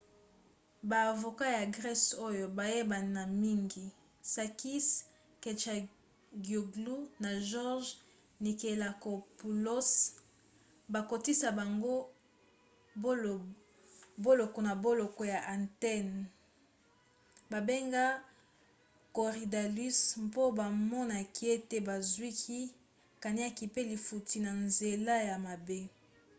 baavoka ya grese oyo bayebana mingi sakis kechagioglou na george nikolakopoulos bakotisi bango boloko na boloko ya athènes babengi korydallus mpo bamonaki ete bazwaki kaniaka pe lifutti na nzela ya mabe